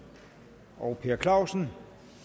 og per clausen